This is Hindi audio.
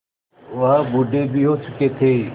वह बूढ़े भी हो चुके थे